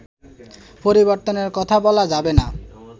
পরিবর্তনের কথা বলা যাবে না